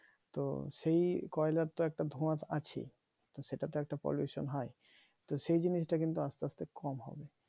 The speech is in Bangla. তো সেই তো কয়লার তো একটা ধোয়া আছেই তো সেটা তো একটা pollution হয় তো সেইজিনিসটা কিন্তু আস্তে আস্তে কম হবে